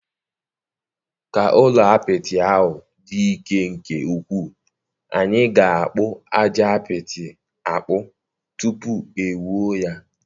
Ka ụlọ apịtị ahụ dị ike nke ukwuu, anyị ga-akpu aja apịtị akpu tupu e wuo ya.